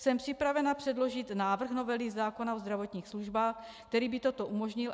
Jsem připravena předložit návrh novely zákona o zdravotních službách, který by toto umožnil.